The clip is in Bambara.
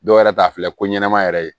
Dɔw yɛrɛ t'a filɛ ko ɲɛnama yɛrɛ ye